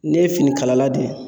Ne ye fini kalala de